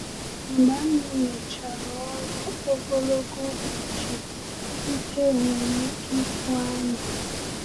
Mgbe anyị mechara ọrụ ogologo ụbọchị, ike nwere ike ịkwụ anyị.